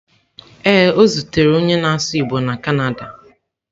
Ee, o zutere onye na-asụ igbo na Canada